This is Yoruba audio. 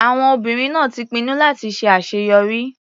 Àwọn obìnrin náà ti pinnu láti ṣe àṣeyọrí.